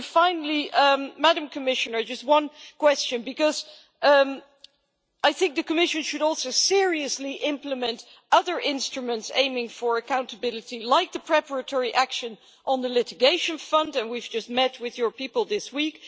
Finally, Madam Commissioner, I have just one question because I think the Commission should also seriously implement other instruments aiming for accountability, like the preparatory action on the litigation fund and we have just met with your people this week.